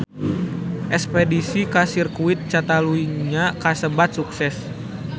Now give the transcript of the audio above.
Espedisi ka Sirkuit Catalunya kasebat sukses